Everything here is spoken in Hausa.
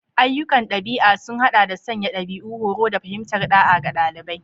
Ayyukan ɗabi'a sun haɗa da sanya dabi'u, horo, da fahimtar ɗa'a ga ɗalibai.